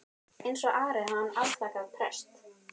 Eins og Ari hafði hann afþakkað prest.